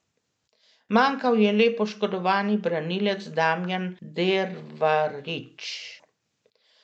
Manjkal je le poškodovani branilec Damjan Dervarič.